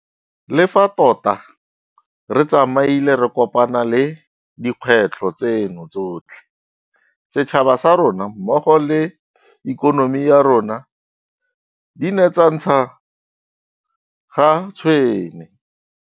Le fa tota re tsamaile re kopana le dikgwetlho tseno tsotlhe, setšhaba sa rona mmogo le ikonomi ya rona di ne tsa ntsha ga tshwene.